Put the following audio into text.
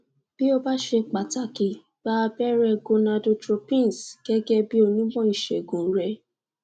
bí ó bá ṣe pàtàkì gba abẹrẹ gonadotropins gẹgẹ bí onímọ ìṣègùn rẹ